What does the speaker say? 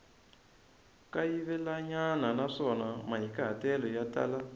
kayivelanyana naswona mahikahatelo ya tala